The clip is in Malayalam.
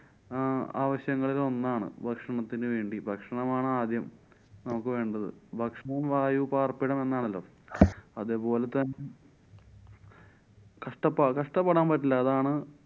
അഹ് ആവശ്യങ്ങളിലോന്നാണ്. ഭക്ഷണത്തിനു വേണ്ടി. ഭക്ഷണമാണ് ആദ്യം നമുക്ക് വേണ്ടത്. ഭക്ഷണം, വായു, പാര്‍പ്പിടം എന്നാണല്ലോ. അതുപോലത്തെ കഷ്ടപ്പാ~ കഷ്ട്ടപ്പെടാന്‍ പറ്റില്ല. അതാണ്‌